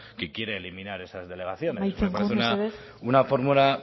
que quiere eliminar esas delegaciones amaitzen joan mesedez me parece una fórmula